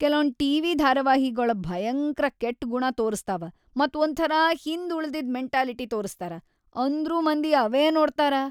ಕೆಲೊಂದ್‌ TV. ಧಾರಾವಾಹಿಗೊಳ ಭಯಂಕ್ರ ಕೆಟ್‌ಗುಣಾ ತೋರಸ್ತಾವ ಮತ್‌ ಒಂಥರಾ ಹಿಂದ್‌ ಉಳಿದಿದ್‌ ಮೆಂಟಾಲಿಟಿ ತೋರಸ್ತಾರ, ಅಂದ್ರೂ ಮಂದಿ ಅವೇ ನೋಡ್ತಾರ.